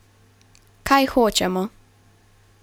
Kaj hočemo?